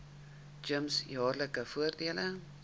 gems jaarlikse voordele